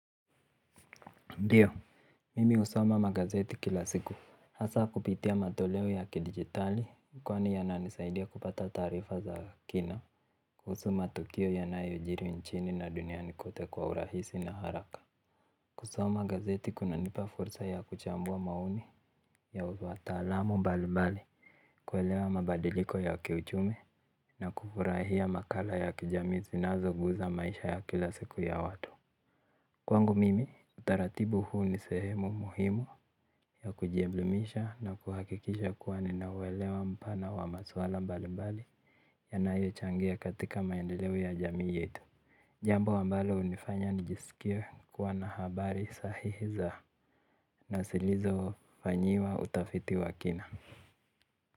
Ndiyo, mimi usoma magazeti kila siku, hasa kupitia matoleo ya kidigitali, kwani yananisaidia kupata taarifa za kina, kuhusu matukio yanayo jiri nchini na duniani kote kwa urahisi na haraka. Kusoma magazeti kuna nipa fursa ya kuchambua maoni, ya uvuata alamo mbali mbali, kuelewa mabadiliko ya kiuchumi, na kufurahia makala ya kijami zinazo guza maisha ya kila siku ya watu. Kwangu mimi utaratibu huu ni sehemu muhimu ya kujielimisha na kuhakikisha kuwa ninawelewa mpana wa maswala mbali mbali ya nayo changea katika maendeleo ya jamii yetu. Jambo ambalo unifanya nijisikia kuwa na habari sahihiza na silizo fanyiwa utafiti wa kina.